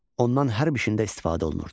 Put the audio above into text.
Ondan hər bir işdə istifadə olunurdu.